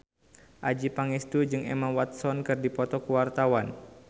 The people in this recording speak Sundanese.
Adjie Pangestu jeung Emma Watson keur dipoto ku wartawan